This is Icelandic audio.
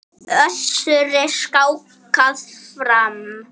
Össuri skákað fram.